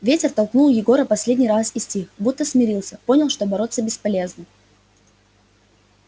ветер толкнул егора последний раз и стих будто смирился понял что бороться бесполезно